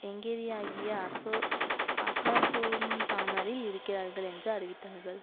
எங்கேதியாஆகிய அசோஅசாசோன்தாமாரில் இருக்கிறார்கள் என்று அறிவித்தார்கள்